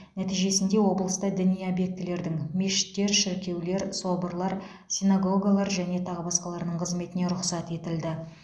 нәтижесінде облыста діни объектілердің мешіттер шіркеулер соборлар синагогалар және тағы басқалардың қызметіне рұқсат етілді